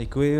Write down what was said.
Děkuji.